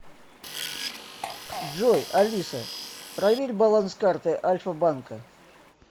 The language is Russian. джой алиса проверь баланс карты альфа банка